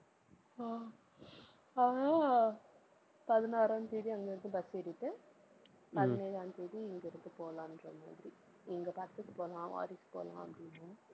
ஆஹ் அதான் பதினாறாம் தேதி, அங்க இருந்து bus ஏறிட்டு, பதினேழாம் தேதி இங்கிருந்து போலாங்கிறமாதிரி இங்க படத்துக்கு போலாம், வாரிசுக்கு போலாம் அப்படின்னு.